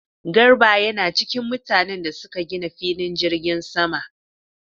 Garba yana cikin mutanen da suka gina filin jirgin sama